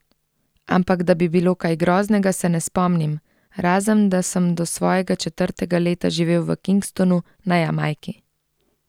Ampak da bi bilo kaj groznega, se ne spomnim, razen da sem do svojega četrtega leta živel v Kingstonu na Jamajki.